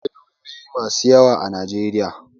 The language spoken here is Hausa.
Akwai lauyoyi masu yawa a Najeriya.